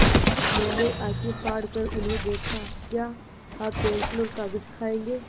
मैंने आँखें फाड़ कर उन्हें देखा क्या आप पेन्सिल और कागज़ खाएँगे